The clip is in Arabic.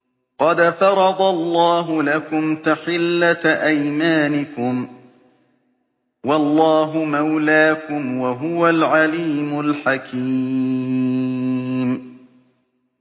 قَدْ فَرَضَ اللَّهُ لَكُمْ تَحِلَّةَ أَيْمَانِكُمْ ۚ وَاللَّهُ مَوْلَاكُمْ ۖ وَهُوَ الْعَلِيمُ الْحَكِيمُ